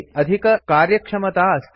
Java इत्यस्मिन् अधिककार्यक्षमता अस्ति